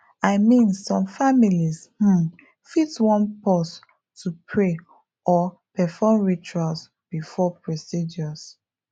i mean some families um fit wan pause to pray or perform rituals before procedures